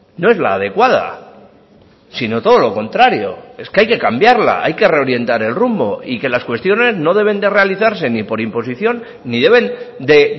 no es la adecuada sino todo lo contrario es que hay que cambiarla hay que reorientar el rumbo y que las cuestiones no deben de realizarse ni por imposición ni deben de